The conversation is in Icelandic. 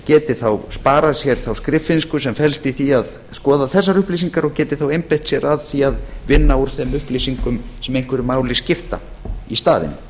geti þá sparað sér þá skriffinnsku sem felst í því að skoða þessar upplýsingar og geti þá einbeitt sér að því að vinna úr þeim upplýsingum sem einhverju máli skipta í